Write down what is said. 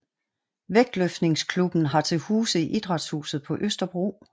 Vægtløftningsklubben har til huse i Idrætshuset på Østerbro